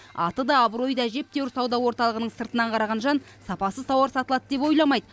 аты да абыройы да әжептеуір сауда орталығының сыртынан қараған жан сапасыз тауар сатылады деп ойламайды